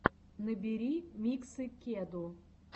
набери миксы кеду